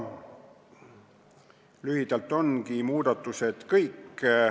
Lühidalt ongi muudatused kõik.